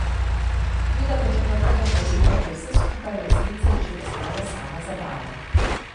Toda do četrtega poletja je vse skupaj v resnici že postalo samo zabava.